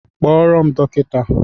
Kpọrọ m dọkịta!